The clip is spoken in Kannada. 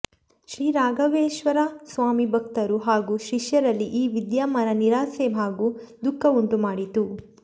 ಶ್ರೀ ರಾಘವೇಶ್ವರ ಸ್ವಾಮಿ ಭಕ್ತರು ಹಾಗೂ ಶಿಷ್ಯರಲ್ಲಿ ಈ ವಿದ್ಯಮಾನ ನಿರಾಸೆ ಹಾಗೂ ದುಃಖ ಉಂಟುಮಾಡಿತು